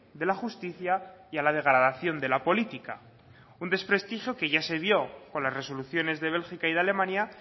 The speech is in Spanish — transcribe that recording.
de la justicia y a la degradación de la política un desprestigio que ya se vio con las resoluciones de bélgica y de alemania